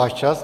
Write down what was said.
Váš čas.